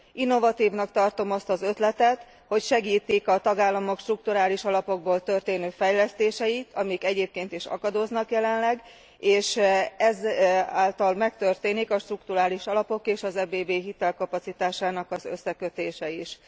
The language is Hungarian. Innovatívnak tartom azt az ötletet, hogy segítik a tagállamok strukturális alapokból történő fejlesztéseit, amik egyébként is akadoznak jelenleg, és ezáltal megtörténik a strukturális alapok és az EBB hitelkapacitásának az összekötése is.